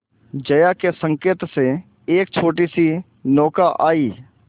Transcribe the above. जया के संकेत से एक छोटीसी नौका आई